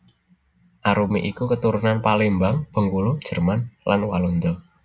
Arumi iku keturunan Palembang Bengkulu Jerman lan Walanda